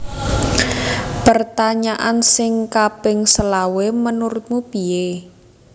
Pertanyaan sing kaping selawe menurutmu pie